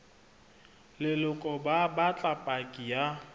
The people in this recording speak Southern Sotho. leloko ba batla paki ya